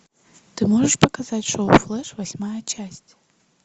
ты можешь показать шоу флэш восьмая часть